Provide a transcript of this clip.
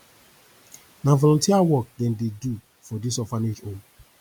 na volunteer work dem dey do for dis orphanage home